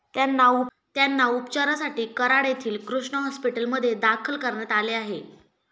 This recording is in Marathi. त्यांना उपचारासाठी कराड येथील कृष्णा हॉस्पिटलमध्ये दाखल करण्यात आले आहे.